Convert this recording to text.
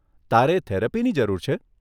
તારે થેરપીની જરૂર છે?